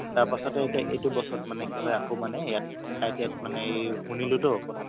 তাৰ পাছতে আকৌ এইটো বছৰত মানে কি হয় আকৌ মানে ইয়াত ITI ত মানে এই শুনিলোতো কথাতো